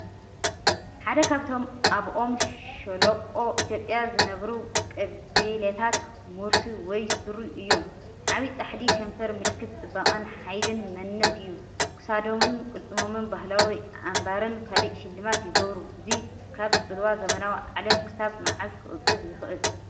ሓደ ካብቶም ኣብ ኦሞ ሸሎቆ ኢትዮጵያ ዝነብሩ ቀቢላታት ሙርሲ ወይ ሱሪ እዮም። ዓቢ ጻሕሊ ከንፈር ምልክት ጽባቐን ሓይልን መንነትን እዩ፣ ክሳዶምን ቅልጽሞምን ባህላዊ ኣምባርን ካልእ ሽልማትን ይገብሩ። እዚ ካብ ጽልዋ ዘመናዊ ዓለም ክሳብ መዓስ ክቕጽል ይኽእል?